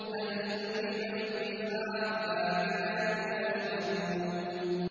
هَلْ ثُوِّبَ الْكُفَّارُ مَا كَانُوا يَفْعَلُونَ